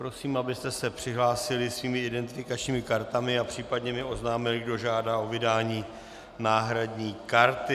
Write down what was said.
Prosím, abyste se přihlásili svými identifikačními kartami a případně mi oznámili, kdo žádá o vydání náhradní karty.